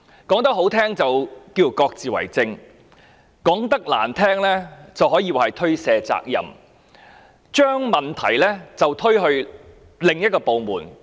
說得動聽一點，就是各自為政；說得難聽一點，可說是推卸責任，將問題推到另一個部門。